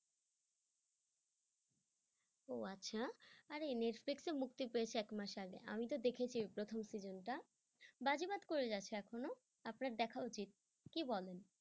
ও আচ্ছা আরে নেটফ্লিক এ মুক্তি পেয়েছে একমাস আগে আমি তো দেখেছি প্রথম season টা বাজিবাদ করে যাচ্ছে এখনো আপনার দেখা উচিত কি বলেন?